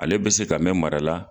Ale be se ka mɛ mara la